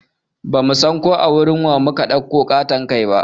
Bamu san ko a wurin wa mu ka ɗauko ƙaton kai ba